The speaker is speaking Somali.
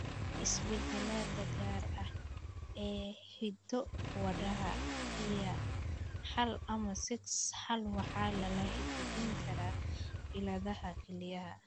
Isbeddellada gaarka ah ee hiddo-wadaha EYA hal ama SIX hal waxa lala xidhiidhin karaa cilladaha kelyaha.